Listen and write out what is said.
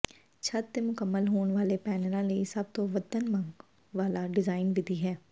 ਛੱਤ ਦੇ ਮੁਕੰਮਲ ਹੋਣ ਵਾਲੇ ਪੈਨਲਾਂ ਲਈ ਸਭ ਤੋਂ ਵੱਧ ਮੰਗਣ ਵਾਲਾ ਡਿਜ਼ਾਈਨ ਵਿਧੀ ਹੈ